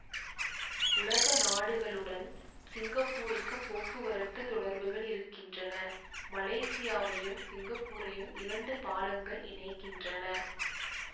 உலகநாடுகளுடன் சிங்கப்பூருக்கு போக்குவரத்து தொடர்புகள் இருக்கின்றன மலேசியாவையும் சிங்கப்பூரையும் இரண்டு பாலங்கள் இணைக்கின்றன